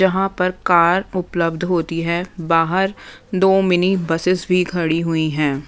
जहाँ पर कार उपलब्ध होती हैं बाहर दो मिनी बसेस भी खड़ी हुई हैं।